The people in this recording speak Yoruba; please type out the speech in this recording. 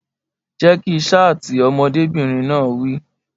Jẹ́ kí ṣáàtì! Ọmọdébìnrin náà wí.